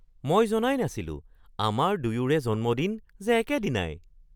মই জনাই নাছিলোঁ আমাৰ দুয়োৰে জন্মদিন যে একেদিনাই!